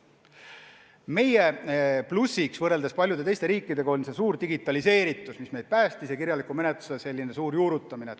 Meie plussiks võrreldes paljude teiste riikidega on suur digitaliseeritus, mis meid päästis, ja kirjaliku menetluse ulatuslik juurutamine.